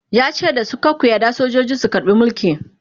yace dasu "kar ku yarda sojoji su karbe Mulki!"